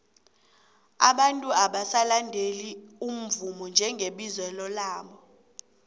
abantu abasalandeli umvumo njengebizelo labo